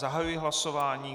Zahajuji hlasování.